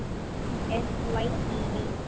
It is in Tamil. SYED